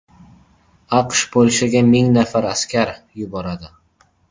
AQSh Polshaga ming nafar askar yuboradi.